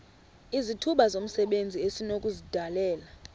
izithuba zomsebenzi esinokuzidalela